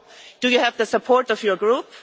Do you have the support of your Group?